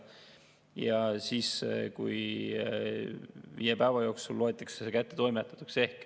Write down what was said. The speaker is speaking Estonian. Ja siis viie päeva jooksul loetakse see kättetoimetatuks.